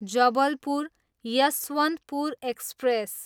Jabalpur, Yesvantpur express